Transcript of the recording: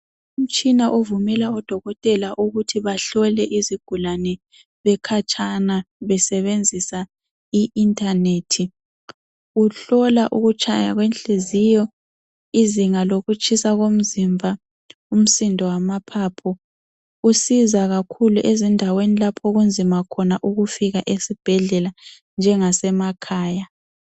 Umtshina ovumela odokotela ukuthi bahlole izigulane bekhatshana besebenzisa iinternet. Uhlola ukutshaya kwenhliziyo, izinga lokutshisa komzimba, umsindo wamaphaphu. Usiza kakhulu ezindaweni lapho okunzima khona ukufika esibhedlela njengasemakhaya.